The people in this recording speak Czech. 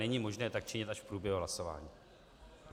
Není možné tak činit až v průběhu hlasování.